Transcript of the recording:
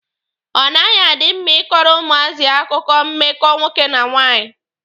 Ọ naghị adị mma ịkọrọ ụmụazị akụkọ mmekọ nwoke na nwanyị.